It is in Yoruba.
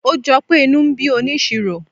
ó jọpé inú ń bí onisiro